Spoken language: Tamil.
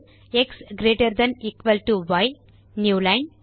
X greater than equal to y new line